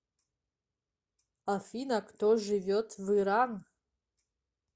афина кто живет в иран